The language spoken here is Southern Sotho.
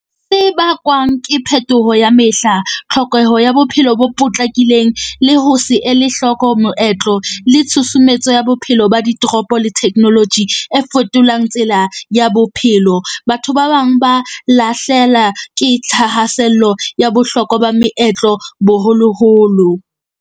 Se bakwang ke phetoho ya mehla, tlhokeho ya bophelo bo potlakileng le ho se ele hloko, moetlo le tshusumetso ya bophelo ba ditoropo le technology e fetolang tsela ya bophelo. Batho ba bang ba lahlehela ke thahasello ya bohlokwa ba meetlo boholoholo.